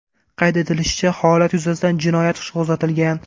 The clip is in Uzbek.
Qayd etilishicha, holat yuzasidan jinoyat ishi qo‘zg‘atilgan.